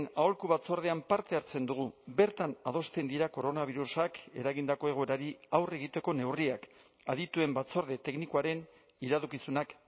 aholku batzordean parte hartzen dugu bertan adosten dira koronabirusak eragindako egoerari aurre egiteko neurriak adituen batzorde teknikoaren iradokizunak